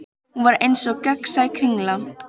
Hún var eins og gegnsæ kringla.